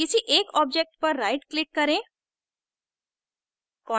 किसी एक objects पर right click करें